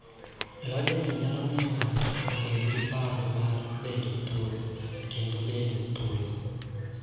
Lochni nyalo miyo ng�ato obed gi paro mar bedo thuolo kendo bedo thuolo,